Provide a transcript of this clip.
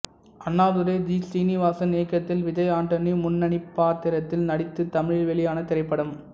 Annadurai G Srinivasan இயக்கத்தில் விஜய் ஆண்டனி முன்னணிப்பாத்திரத்தில் நடித்து தமிழில் வெளியான திரைப்படம்